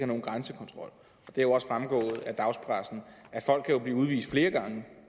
nogen grænsekontrol det er jo også fremgået i dagspressen kan folk blive udvist flere gange